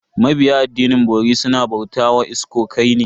Mabiya addinin bori suna bauta wa iskokai ne.